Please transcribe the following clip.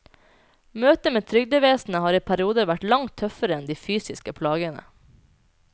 Møtet med trygdevesenet har i perioder vært langt tøffere enn de fysiske plagene.